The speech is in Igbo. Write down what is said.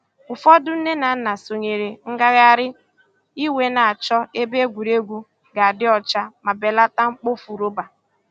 Ụfọdụ nne na nna sonyeere ngagharị iwe na-achọ ebe egwuregwu ga-adị ọcha ma belata mkpofu rọba.